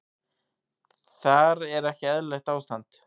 Þar er ekki eðlilegt ástand.